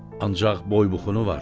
Ancaq boybuxunu var.